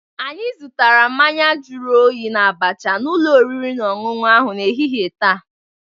Anyị zụtara mmanya juru oyi na abacha n'ụlọ oriri na ọṅụṅụ ahụ n'ehihie taa.